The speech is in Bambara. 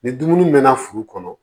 Ni dumuni mɛɛnna furu kɔnɔ